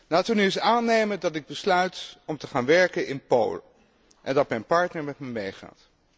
Laten we nu eens aannemen dat ik besluit om te gaan werken in Polen en dat mijn partner met me meegaat.